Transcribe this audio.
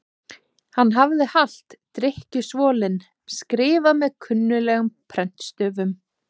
hann hafði halti drykkjusvolinn skrifað með klunnalegum prentstöfum